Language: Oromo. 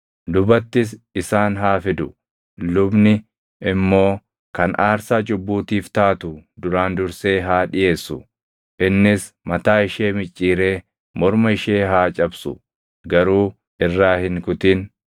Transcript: Lubattis isaan haa fidu; lubni immoo kan aarsaa cubbuutiif taatu duraan dursee haa dhiʼeessu. Innis mataa ishee micciiree morma ishee haa cabsu; garuu irraa hin kutin.